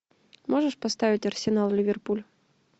можешь поставить арсенал ливерпуль